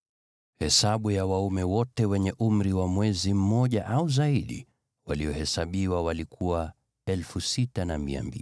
Hesabu ya waume wote wenye umri wa mwaka mmoja au zaidi waliohesabiwa walikuwa 6,200.